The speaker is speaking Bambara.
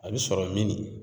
A bi sɔrɔ minni?